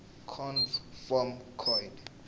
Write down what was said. conv form coid